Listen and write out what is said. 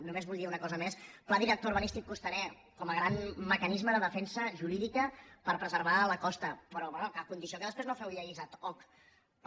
només vull dir una cosa més pla director urbanístic costaner com a gran mecanisme de defensa jurídica per preservar la costa però bé a condició que després no feu lleis ad hoc per